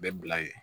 Bɛ bila ye